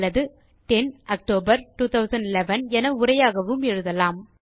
அல்லது 10 ஆக்டோபர் 2011 என உரையாகவும் எழுதலாம்